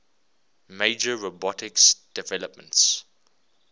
major robotics developments